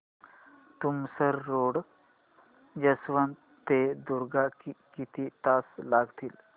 Tumsar road junction ते दुर्ग किती तास लागतील